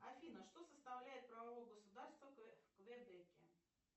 афина что составляет правовое государство в квебеке